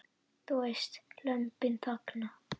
Þú veist, Lömbin þagna.